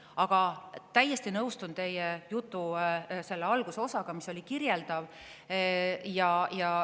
Aga täiesti nõustun teie jutu algusosaga, mis oli kirjeldav.